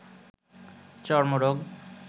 চর্মরোগ